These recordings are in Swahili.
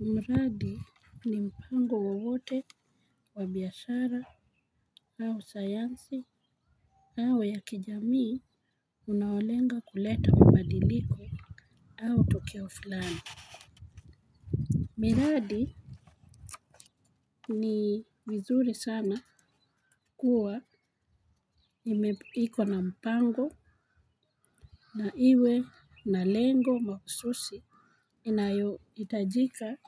Mradi ni mpango wowote wa biashara au sayansi au wa kijamii unaolenga kuleta mabadiliko au tokeo fulani. Ni muhimu sana kuwa na mpango na uwe na lengo mahususi, unaohitajika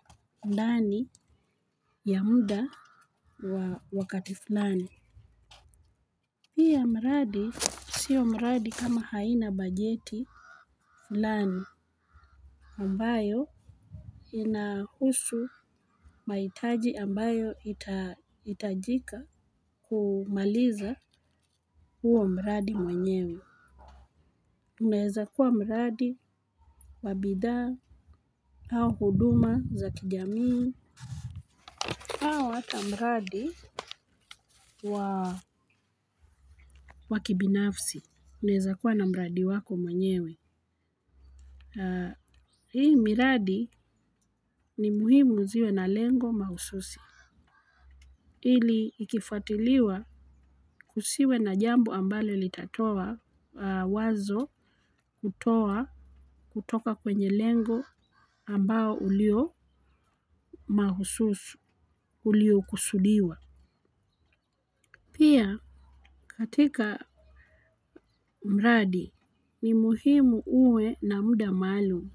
ndani ya muda wa wakati fulani. Pia mradi, si mradi kama haina bajeti fulani ambayo inahusu mahitaji ambayo yatahitajika kumaliza huo mradi wenyewe. Unaweza kuwa mradi wa bidhaa au huduma za kijamii, au hata mradi wa kibinafsi. Unaweza kuwa na mradi wako mwenyewe. Hii miradi ni muhimu iwe na lengo mahususi. Ili ikifuatiliwa, kusiwe na jambo ambalo litatoa wazo kutoka kwenye lengo ambalo ulio mahususi uliokusudiwa. Pia katika mradi, ni muhimu uwe na muda maalum,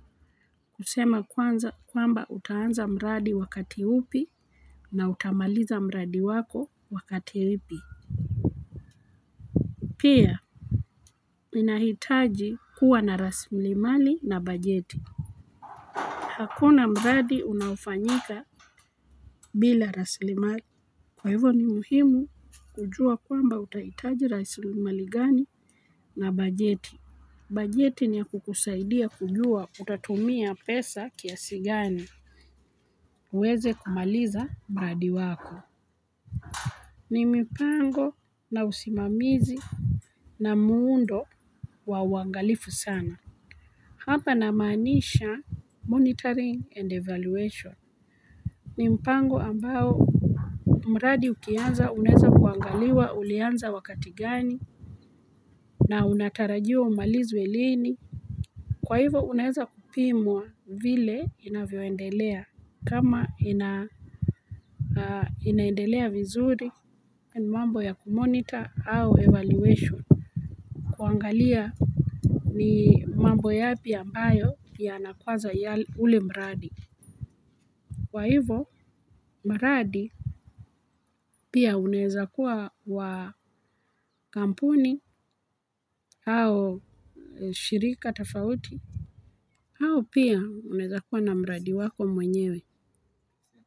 kusema kwanza kwamba utaanza mradi wakati upi na utamaliza mradi wako wakati upi. Pia inahitaji kuwa na rasilimali na bajeti. Hakuna mradi unaofanyika bila rasilimali. Kwa hivyo ni muhimu kujua kwamba utahitaji rasilimali gani na bajeti. Bajeti niya kukusaidia kujua utatumia pesa kiasi gani uweze kumaliza mradi wako. Ni mipango na usimamizi na muundo wa uangalifu sana. Hapa namaanisha monitoring and evaluation. Ni mpango ambao mradi ukianza unaweza kuangaliwa ulianza wakati gani na unatarajiwa umalizwe lini. Kwa hivyo unaweza kupimwa vile inavyoendelea, kama inaendelea vizuri, mambo ya kumonita, au evaluation. Kuangalia ni mambo yapi ambayo ya nakwaza ya ule mradi. Kwa hivo mradi pia unaweza kuwa wa kampuni, au shirika tafauti. Au pia, unaweza kuwa na mradi wako mwenyewe.